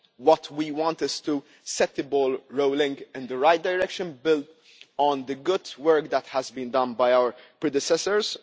What we want to do is to set the ball rolling in the right direction and build on the good work that has been done by our predecessors.